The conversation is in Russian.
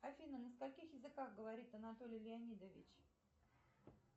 афина на скольких языках говорит анатолий леонидович